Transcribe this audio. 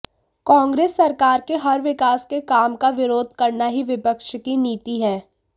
कांग्रेस सरकार के हर विकास के काम का विरोध करना ही विपक्ष की नीति है